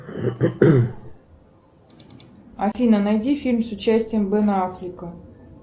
афина найди фильм с участием бена аффлека